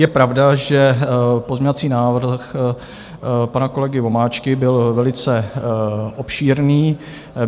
Je pravda, že pozměňovací návrh pana kolegy Vomáčky byl velice obšírný.